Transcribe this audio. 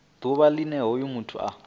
ḓuvha line hoyo muthu a